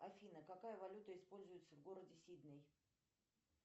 афина какая валюта используется в городе сидней